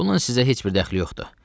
Bunun sizə heç bir dəxli yoxdur.